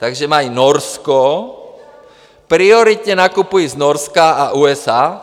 Takže mají Norsko, prioritně nakupují z Norska a USA.